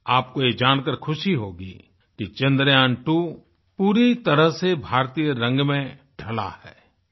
आपको ये जानकार ख़ुशी होगी कि चंद्र्यान्त्वो पूरी तरह से भारतीय रंग में ढ़लाहै